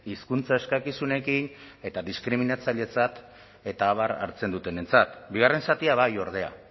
hizkuntza eskakizunekin eta diskriminatzailetzat eta abar hartzen dutenentzat bigarren zatia bai ordea